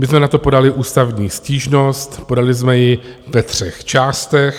My jsme na to podali ústavní stížnost, podali jsme ji ve třech částech.